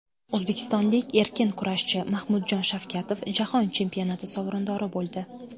O‘zbekistonlik erkin kurashchi Mahmudjon Shavkatov jahon chempionati sovrindori bo‘ldi.